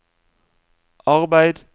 arbeid